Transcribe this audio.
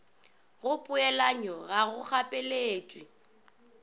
go poelanyo ga go gapeletšege